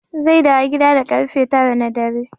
Zai dawo gida da karfe tara na dare.